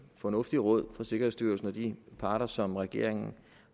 fornuftige råd fra sikkerhedsstyrelsen og de parter som regeringen